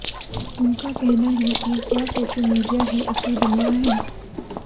उनका कहना है कि क्या सोशल मीडिया ही असली दुनिया है